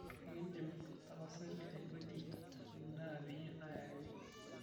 ekidim tapasali aipoti endaa peyie ayakini